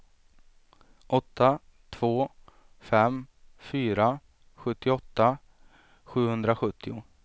åtta två fem fyra sjuttioåtta sjuhundrasjuttio